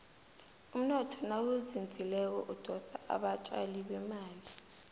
umnotho nawuzinzileko udosa abatjali bemali